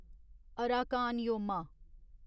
Arakan Yoma